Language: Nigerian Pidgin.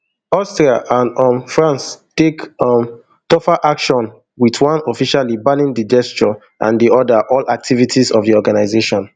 austria and um france take um tougher action wit one officially banning di gesture and di oda all activities of di organisation